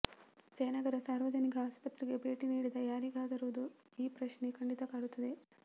ಜಯನಗರ ಸಾರ್ವಜನಿಕ ಆಸ್ಪತ್ರೆಗೆ ಭೇಟಿ ನೀಡಿದ ಯಾರಿಗಾದರೂ ಈ ಪ್ರಶ್ನೆ ಖಂಡಿತ ಕಾಡುತ್ತದೆ